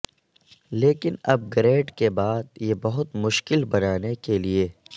لیکن upgrade کے بعد یہ بہت مشکل بنانے کے لئے